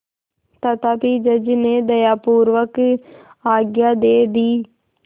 तथापि जज ने दयापूर्वक आज्ञा दे दी